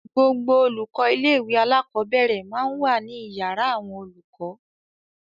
Gbogbo àwọn olùkọ́ ilé-ìwé alákọ̀ọ́bẹ̀rẹ̀ máa ń wà ní ìyàrá àwọn olùkọ́.